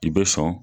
I bɛ sɔn